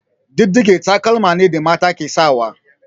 Diɗɗige taƙalma ne da mata ke sawa.